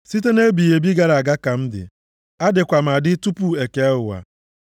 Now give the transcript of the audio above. Site nʼebighị ebi gara aga ka m dị; adịkwa m adị tupu e kee ụwa.